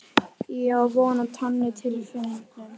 Ég á von á tonni af tilfinningum.